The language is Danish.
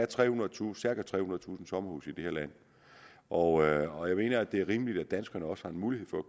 trehundredetusind sommerhuse i det her land og jeg og jeg mener det er rimeligt at danskerne også har en mulighed for at